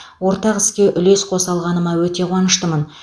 ортақ іске үлес қоса алғаныма өте қуаныштымын